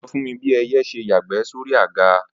Ó sọ fún mi bí ẹyẹ ṣe yàgbẹ́ sóri àga